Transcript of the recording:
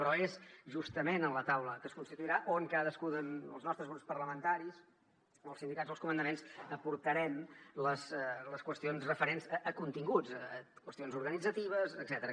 però és justament en la taula que es constituirà on cadascú els nostres grups parlamentaris els sindicats els comandaments aportarem les qüestions referents a continguts qüestions organitzatives etcètera